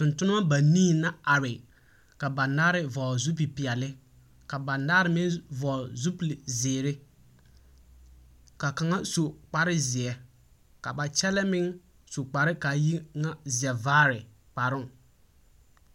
Tontonemͻ banii la are. ka banaare vͻgele zupili peԑle, ka banaare meŋ vͻgele zupili zeere. Ka kaŋa su kpare zeԑ ka ba kyԑlee su kpare ka a yi ŋa zԑvaare kparoŋ.